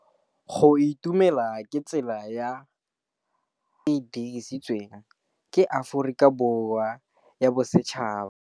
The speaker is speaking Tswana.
Go itumela ke tsela ya tlhapolisô e e dirisitsweng ke Aforika Borwa ya Bosetšhaba.